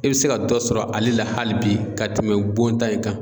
E be se ka dɔ sɔrɔ ale la hali bi ka tɛmɛ bon ta in kan